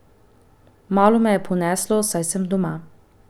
Malo me je poneslo, saj sem doma.